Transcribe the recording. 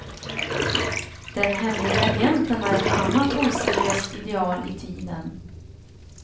Den hemlige agenten är ett annat oseriöst ideal i tiden.